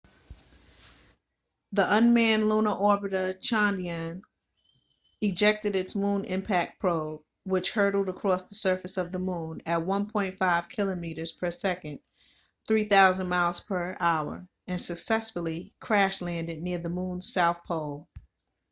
the unmanned lunar orbiter chandrayaan-1 ejected its moon impact probe mip which hurtled across the surface of the moon at 1.5 kilometres per second 3000 miles per hour and successfully crash landed near the moon's south pole